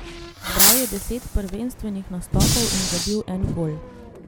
Zbral je deset prvenstvenih nastopov in zabil en gol.